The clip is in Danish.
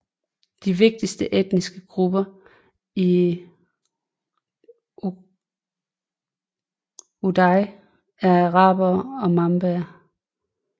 De vigtigste etniske grupper i Ouaddaï er arabere og mabaer